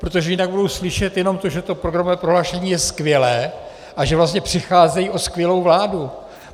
Protože jinak budou slyšet jenom to, že to programové prohlášení je skvělé a že vlastně přicházejí o skvělou vládu.